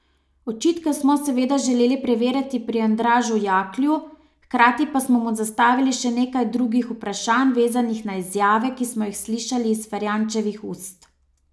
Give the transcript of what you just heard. Očitke smo seveda želeli preveriti pri Andražu Jaklju, hkrati pa smo mu zastavili še nekaj drugih vprašanj, vezanih na izjave, ki smo jih slišali iz Ferjančevih ust.